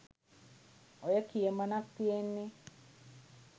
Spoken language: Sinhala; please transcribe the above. ඔය කියමනක් තියෙන්නේ